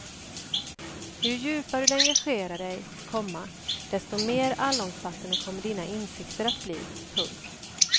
Ju djupare du engagerar dig, komma desto mer allomfattande kommer dina insikter att bli. punkt